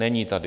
Není tady.